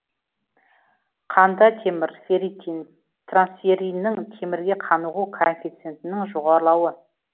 қанда темір ферритин трансферриннің темірге қанығу коэффициентінің жоғарылауы